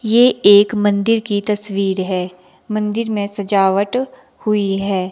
ये एक मंदिर की तस्वीर है मंदिर में सजावट हुई है।